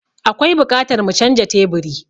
Akwai buƙatar mu canja teburi.